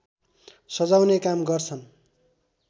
सजाउने काम गर्छन्